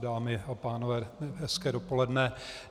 Dámy a pánové, hezké dopoledne.